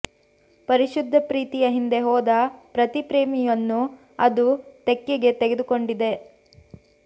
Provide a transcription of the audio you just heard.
ಪರಿಶುದ್ಧ ಪ್ರೀತಿಯ ಹಿಂದೆ ಹೋದ ಪ್ರತಿ ಪ್ರೇಮಿಯನ್ನೂ ಅದು ತೆಕ್ಕೆಗೆ ತಗೆದುಕೊಂಡಿದೆ